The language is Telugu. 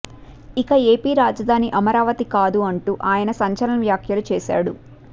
ఇక ఏపీ రాజధాని అమరావతి కాదు అంటూ ఆయన సంచలన వ్యాఖ్యలు చేశాడు